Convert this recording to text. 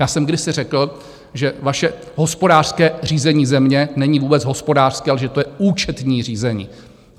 Já jsem kdysi řekl, že vaše hospodářské řízení země není vůbec hospodářské, ale že to je účetní řízení.